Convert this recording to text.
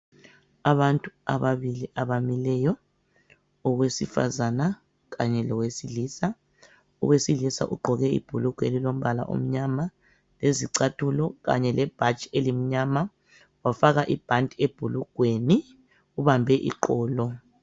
Abantu ababili abamileyo, owesifazana, kanye lowesilisa, owesilisa ugqoke ibhulugwe elilombala omnyama, lezicathulo kanye lebhatshi elimnyama wafaka ibhanti ebhulugweni ubambe iqolo.